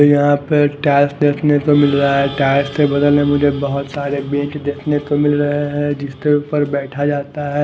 यहाँ पर टाइल्स देखने को मिल रहा है टाइल्स के बगल में मुझे बोहोत सारे बेट देखने को मिल रहे है जिस तरफ पर बेठा जाता है।